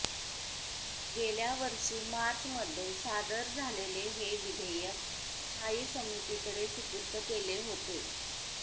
गेल्यावर्षी मार्च मध्ये सादर झालेले हे विधेयक स्थायी समितीकडे सुपूर्त केले होते